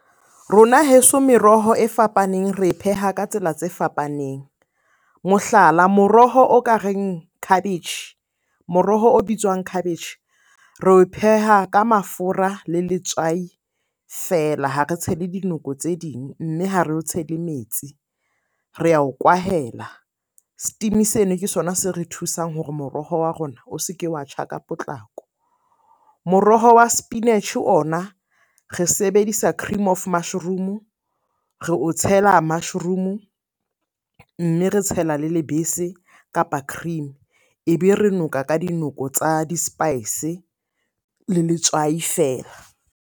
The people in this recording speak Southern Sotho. Rona heso meroho e fapaneng re e pheha ka tsela tse fapaneng. Mohlala, moroho o ka reng khabetjhe. Moroho o bitswang khabetjhe re o pheha ka mafura le letswai fela, ha re tshele dinoko tse ding. Mme ha re o tshele metsi, re ao kwahela. Steam-e seno ke sona se re thusang hore moroho wa rona o se ke wa tjha ka potlako. Moroho wa sepinatjhe ona re sebedisa cream of mushroom-o, re o tshela mushroom-o. Mme re tshela le lebese, kapa cream. E be re noka ka dinoko tsa di-spice le letswai feela.